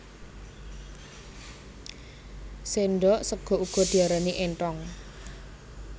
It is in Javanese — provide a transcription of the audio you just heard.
Sendhok sega uga diarani énthong